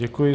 Děkuji.